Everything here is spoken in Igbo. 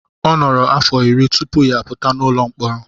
Ọ nọrọ afọ iri tupu ya apụta n'ụlọ mkpọrọ.